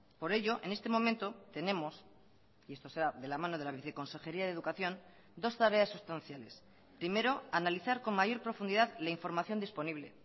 por ello en este momento tenemos y esto será de la mano de la viceconsejería de educación dos tareas sustanciales primero analizar con mayor profundidad la información disponible